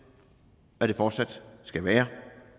at det fortsat skal være